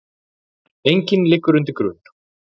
Enginn liggur undir grun